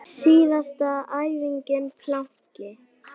Síðasta æfingin planki.